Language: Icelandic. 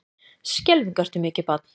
Skelfing ertu mikið barn.